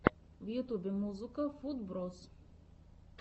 в ютубе музыка футброз